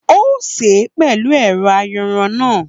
Ó sè é pẹ̀lú ẹ̀rọ ayanran náà